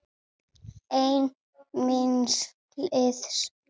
Einn míns liðs.